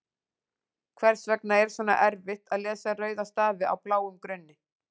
Hvers vegna er svona erfitt að lesa rauða stafi á bláum grunni?